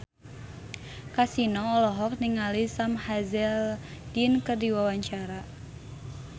Kasino olohok ningali Sam Hazeldine keur diwawancara